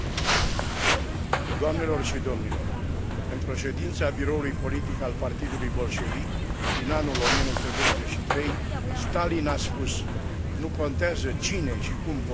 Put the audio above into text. Într o ședință a biroului politic al Partidului Bolșevic, din anul 1923, Stalin a spus Nu contează cine și cum votează, contează cine numără voturile.